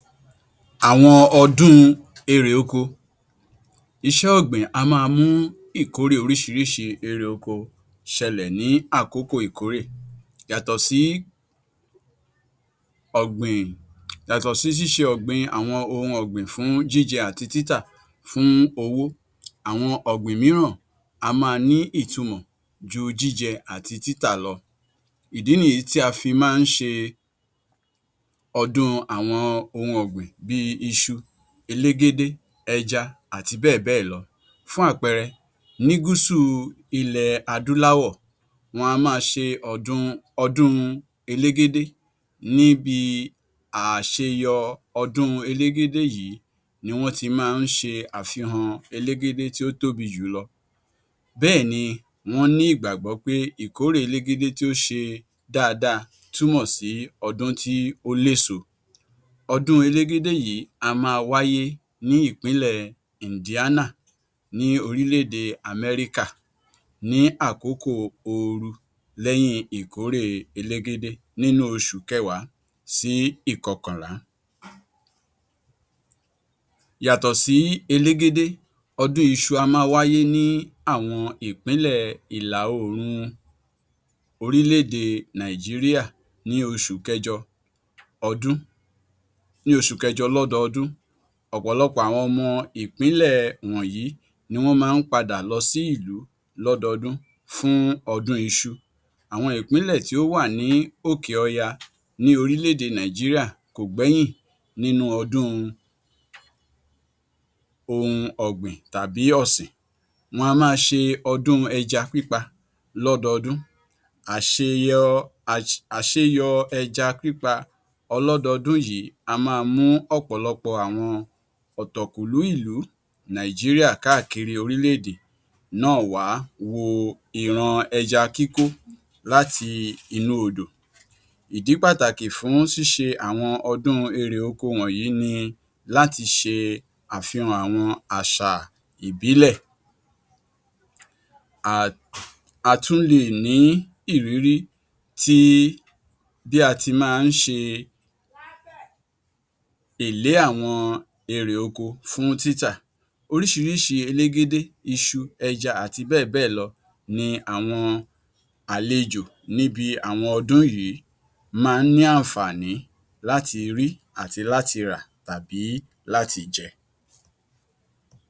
Àwọn ọdún èrè oko, iṣẹ́ ọ̀gbìn á máa mú ìkórè oríṣiríṣi èrè oko ṣẹlẹ̀ ní àkókò ìkórè yàtọ̀ sí ṣíṣe àwọn ohun ọ̀gbìn fún jíjẹ àti títà, fún owó, àwọn ọ̀gbìn mìíràn á máa ìtumọ̀ ju jíjẹ àti títà lọ ìdí nìyí tí a fi máa ń ṣe ọdún àwọn ohun ọ̀gbìn bí iṣu, elégédé, ẹja àti bẹ́ẹ̀ bẹ́è lọ. Fún àpẹẹrẹ ní Guusù ilẹ̀ adúláwọ̀, wọ́n á máa ṣe ọdún elégédé ní bi àṣeyọ ọdún elégédé yìí ni wọ́n ti máa ń ṣe àfihàn elégédé tí ó tóbi jùlọ, bẹ́ẹ̀ni wọ́n ní ìgbàgbọ́ pé ìkórè elégédé tí ó ṣe dáadáa túmọ̀ sí ọdún tí ó léso. Ọdún elégédé yìí á máa wáyé ní ìpínlẹ̀ Ìǹdíánà ní orílẹ̀-èdè Amẹ́ríkà ní àkókò ooru, lẹ́yìn ìkórè elégédé, ní oṣù kẹwàá sí ìkọkànlá, yàtọ̀ sí elégédé, ọdún iṣu á máa wáyé ní àwọn ìpínlẹ̀ ìlà-oòrùn orílẹ̀-èdè Nàìjíríà ní oṣù kẹjọ lọ́dọọdún, ọ̀pọ̀lọpọ̀ àwon ọmọ ìpínlẹ̀ wọ̀nyí ni wọ́n máa ń padà lọ sí ìlú lọ́dọọdún fún ọdún iṣu. Àwọn ìpínlẹ̀ tí ó wà ní òkè ọya ní orílẹ̀-èdè Nàìjíríà kò gbẹ́yìn nínú ọdún ohun ọ̀gbìn tàbí ọ̀sìn, wọn á máa ṣe ọdún ẹja pípa lọ́dọọdụ́n, àṣeyọ ẹja pípa ọlọ́dọọdún yìí á máa mú ọ̀pọ̀lọpọ̀ àwọn ọ̀tọ̀kùn ìlú Nàìjíríà káàkiri orílẹ̀-èdè náà wá wo ìran ẹja kíkó láti inú odò. Ìdí pàtàkì fún ṣíṣe àwọn ọdún èrè oko wọ̀nyí ni láti ṣe àfihàn àwọn àṣà ìbílẹ̀. A tún le è ní ìrírí bí a ti máa ń ṣe èlé àwọn èrè oko fún títà. Oríṣiríṣi elégédé, iṣu, ẹja àti bẹ́è bẹ́ẹ̀ lọ ni àwọn àlejò níbi àwọn ọdún yìí máa ń ní àǹfààní láti rí àti láti rà tàbí láti jẹ.